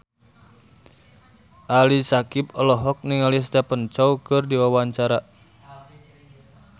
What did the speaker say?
Ali Syakieb olohok ningali Stephen Chow keur diwawancara